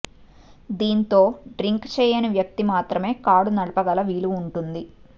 దీంతో డ్రింక్ చేయని వ్యక్తి మాత్రమే కారు నడపగల వీలు ఉంటుంది